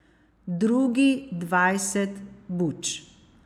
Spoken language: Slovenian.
Drugi dvajset bučk.